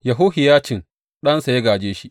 Yehohiyacin ɗansa ya gāje shi.